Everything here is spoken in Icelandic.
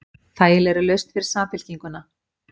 Þægileg lausn fyrir Samfylkinguna